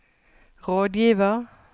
rådgiver